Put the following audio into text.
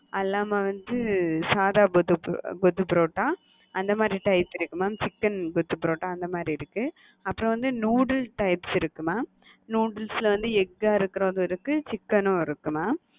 அது இல்லாம வந்து சாதா கொத்து பரோட்டா, அந்த மாறி type இருக்கு mam chicken கொத்து பரோட்டா அந்த மாறி இருக்கு. அப்பறம் வந்து noodle types இருக்கு mam, noodles ல வந்து egg அ இருக்குறதும் இருக்கு chicken உம் இருக்கு மா